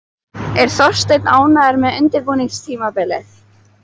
Er Þorsteinn ánægður með undirbúningstímabilið?